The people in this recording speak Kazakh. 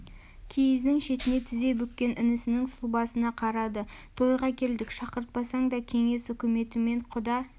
киіздің шетіне тізе бүккен інісінің сұлбасына қарады тойға келдік шақыртпасаң да кеңес үкіметімен құда